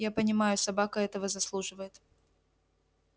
я понимаю собака этого заслуживает